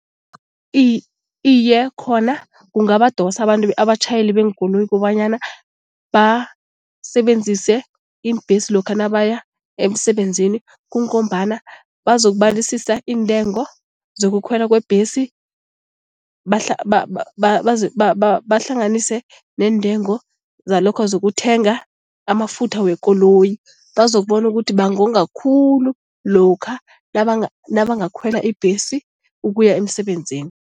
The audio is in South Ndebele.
Iye khona kungabadosa abantu abatjhayeli beenkoloyi kobanyana basebenzise iimbhesi lokha nabaya emsebenzini. Kungombana bazokubalisisa iintengo zokukhwela kwebhesi bahlanganise neentengo zalokha zokuthenga amafutha wekoloyi. Bazokubona ukuthi bangonga khulu lokha nabangakhwela ibhesi ukuya emsebenzini.